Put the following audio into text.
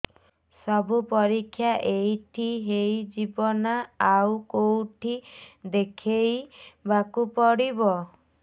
ସବୁ ପରୀକ୍ଷା ଏଇଠି ହେଇଯିବ ନା ଆଉ କଉଠି ଦେଖେଇ ବାକୁ ପଡ଼ିବ